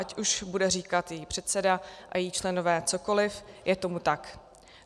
Ať už bude říkat její předseda a její členové cokoli, je tomu tak.